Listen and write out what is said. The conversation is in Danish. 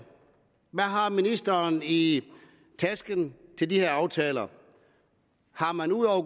hvad har ministeren i tasken til de her aftaler har man ud over